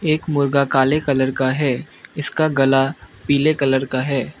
एक मुर्गा काले कलर का है इसका गला पीले कलर का है।